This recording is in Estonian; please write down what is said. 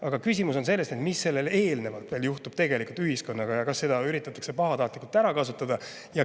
Aga küsimus on selles, mis sellele eelnevalt ühiskonnaga juhtub ja kas seda üritatakse pahatahtlikult ära kasutada.